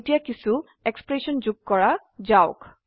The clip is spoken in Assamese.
এতিয়া কিছো এক্সপ্ৰেশন যোগ কৰা যাওক